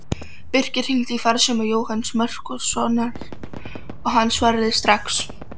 Birkir hringdi í farsíma Jóhanns Markússonar og hann svaraði strax.